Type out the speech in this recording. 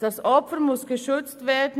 Das Opfer muss geschützt werden.